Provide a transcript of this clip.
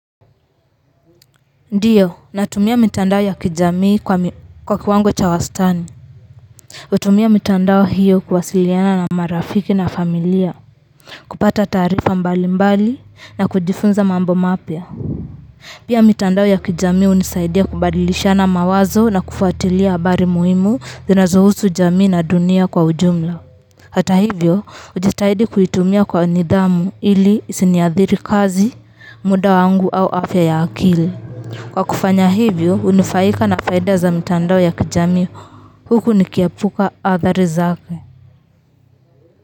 Ndiyo natumia mitandao ya kijamii kwa kiwango cha wastani hutumia mitandao hiyo kuwasiliana na marafiki na familia kupata taarifa mbali mbali na kujifunza mambo mapya pia mitandao ya kijamii hunisaidia kubadilishana mawazo na kufuatilia habari muhimu zinazohusu jamii na dunia kwa ujumla hata hivyo hujitahidi kuitumia kwa nidhamu ili isiniadhiri kazi muda wangu au afya ya akili kwa kufanya hivyo hunufaika na faida za mtandao ya kijamii huku nikiepuka adhari zake.